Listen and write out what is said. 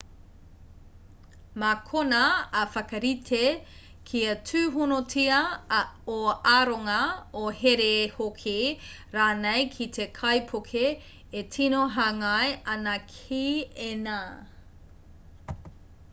mā konā e whakarite kia tūhonotia ō aronga ō here hoki/rānei ki te kaipuke e tino hāngai ana ki ēnā